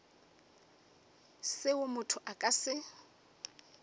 seo motho a ka se